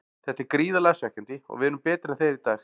Þetta er gríðarlega svekkjandi og við erum betri en þeir í dag.